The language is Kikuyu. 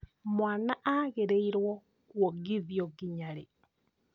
Mwana agĩrĩrwo kuongithio nginya rĩ?